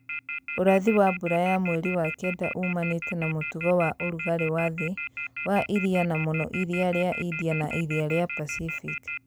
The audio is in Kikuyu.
Urathi wa mbura ya mweri wa kenda ũumanĩte na mũtugo wa ũrugarĩ wa thĩ wa iria na mũno iria rĩa India na iria rĩa Pacific